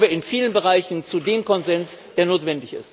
Dann kommen wir in vielen Bereichen zu dem Konsens, der notwendig ist.